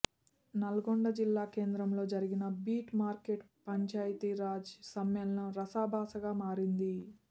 నల్గొండ జిల్లా కేంద్రంలో జరిగిన బీట్ మార్కెట్ పంచాయితీ రాజ్ సమ్మేళనం రసాభాసగా మారింది